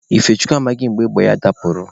Ifechukwu amaghị mgbe égbè ya dapụrụ.